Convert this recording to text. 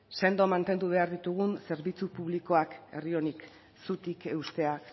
sendo mantendu behar ditugun zerbitzu publikoak herri honi zutik eustea